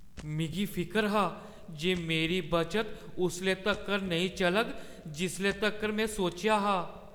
मिगी फिकर हा जे मेरी बचत उसले तक्कर नेईं चलग जिसले तक्कर में सोचेआ हा ।